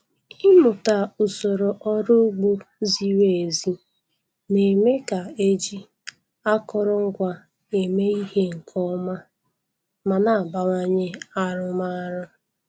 Ịmụta usoro ọrụ ugbo ziri ezi na-eme ka e ji akụrụngwa eme ihe nke ọma ma na-abawanye arụmọrụ.